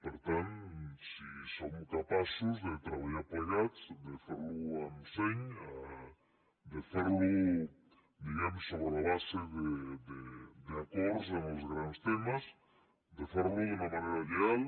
per tant si com capaços de treballar plegats de fer ho amb seny de fer ho sobre la base d’acords en els grans temes de fer ho d’una manera lleial